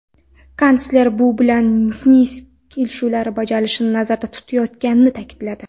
Kansler bu bilan Minsk kelishuvlari bajarilishini nazarda tutayotganini ta’kidladi.